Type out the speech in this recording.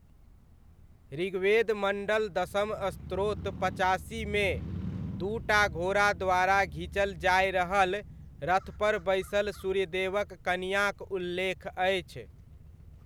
ऋग्वेद मण्डल दसम स्त्रोत्र पचासीमे, दू टा घोड़ा द्वारा घीचल जाय रहल रथपर बैसल सूर्यदेवक कनियाँक उल्लेख अछि।